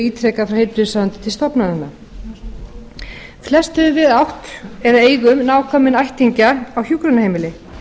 ítrekað frá heilbrigðisráðuneyti til stofnananna flest höfum við átt eða eigum nákominn ættingja á hjúkrunarheimili